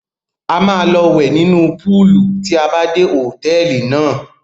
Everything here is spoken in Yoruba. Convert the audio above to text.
A máa lọ wẹ̀ nínú púúlù tí a bá dé hòtẹ́ẹ́lì náà.